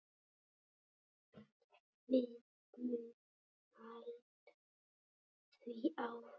Við munum halda því áfram.